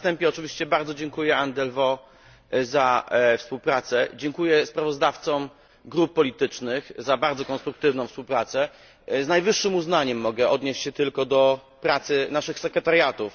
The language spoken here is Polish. Na wstępie oczywiście bardzo dziękuję Anne Delvaux za współpracę. Dziękuję sprawozdawcom grup politycznych za bardzo konstruktywną współpracę. Tylko z najwyższym uznaniem mogę się odnieść do pracy naszych sekretariatów.